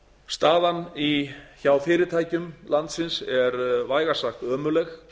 staðan hjá fyrirtækjum landsins er vægast sagt ömurleg